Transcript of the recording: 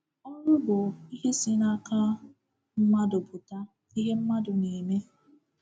*“Ọrụ”* bụ ihe si n’aka mmadụ pụta, ihe mmadụ na-eme.